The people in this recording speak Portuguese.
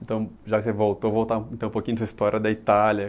Então, já que você voltou, voltar então um dessa história da Itália.